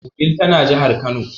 Wudil tana jahar kano.